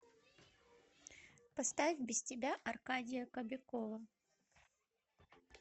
поставь без тебя аркадия кобякова